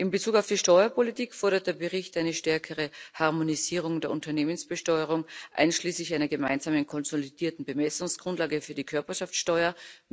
In Bezug auf die Steuerpolitik fordert der Bericht eine stärkere Harmonisierung der Unternehmensbesteuerung, einschließlich einer gemeinsamen konsolidierten Bemessungsgrundlage für die Körperschaftsteuer.